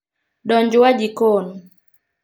Donj w jikon